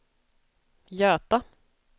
Göta